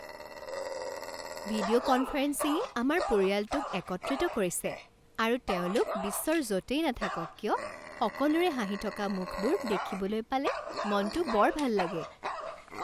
video কনফাৰেন্সিঙে আমাৰ পৰিয়ালটোক একত্ৰিত কৰিছে আৰু তেওঁলোক বিশ্বৰ য'তেই নাথাকক কিয় সকলোৰে হাঁহি থকা মুখবোৰ দেখিবলৈ পালে মনটো বৰ ভাল লাগে